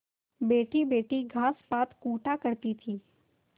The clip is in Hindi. बैठीबैठी घास पात कूटा करती